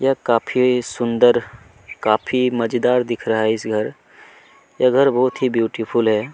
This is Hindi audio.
ये काफी सुंदर काफी मजेदार दिख रहा है इस घर ये घर बहुत ही ब्यूटीफुल है।